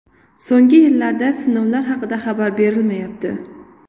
So‘nggi yillarda sinovlar haqida xabar berilmayapti.